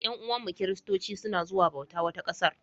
Yan'uwanmu Kiristanci suna zuwa bauta wata ƙasar.